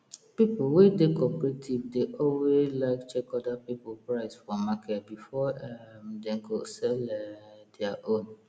people we dey cooperative dey alway like check other people price for market before um dem go sell um dia own